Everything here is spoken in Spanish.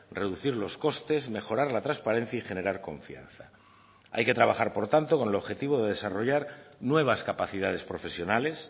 reducir los costes mejorar la transparencia y generar confianza hay que trabajar por tanto con el objetivo de desarrollar nuevas capacidades profesionales